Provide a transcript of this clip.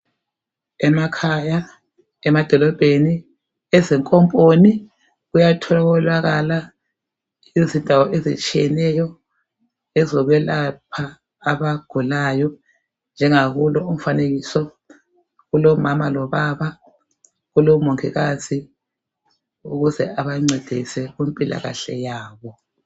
Emakhaya, emadolobheni, ezinkomponi, kuyatholakala izindawo ezitshiyeneyo ezokwelapha abaGukayo..Njengakulo umfanekiso kulomama lobaba. Kulomongikazi ukuze abancedise kumpilaiahle yabo.